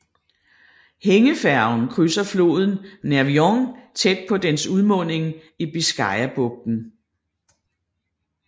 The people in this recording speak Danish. Hængefærgen krydser floden Nervión tæt på dens udmunding i Biscayabugten